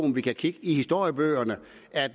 at